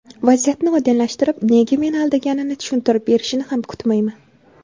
Vaziyatni oydinlashtirib, nega meni aldaganini tushuntirib berishini ham kutmayman.